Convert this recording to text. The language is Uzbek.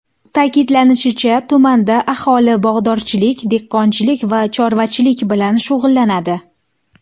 Ta’kidlanishicha, tumanda aholi bog‘dorchilik, dehqonchilik va chorvachilik bilan shug‘ullanadi.